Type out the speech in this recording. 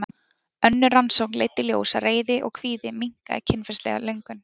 önnur rannsókn leiddi í ljós að reiði og kvíði minnkaði kynferðislega löngun